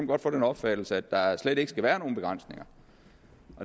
godt få den opfattelse at der slet ikke skal være nogen begrænsninger